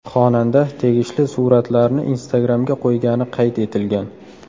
Xonanda tegishli suratlarni Instagram’ga qo‘ygani qayd etilgan.